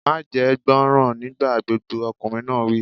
Máa jẹ́ gbọ́ràn nígbà gbogbo! Ọkùnrin náà wí.